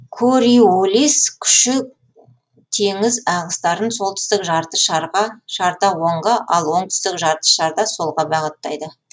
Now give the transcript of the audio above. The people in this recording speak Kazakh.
кориолис күші теңіз ағыстарын солтүстік жарты шарда оңға ал оңтүстік жарты шарда солға бағыттайды